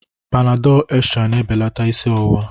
Panadal extral na-ebelata isi ọwụwa